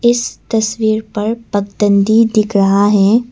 इस तस्वीर पर पगदंडी दिख रहा है।